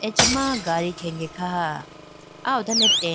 acha ma gari khege khaha aya hodone tent .